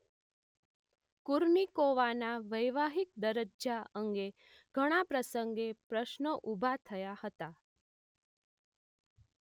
કુર્નિકોવાના વૈવાહિક દરજજા અંગે ઘણા પ્રસંગે પ્રશ્નો ઊભા થયા હતા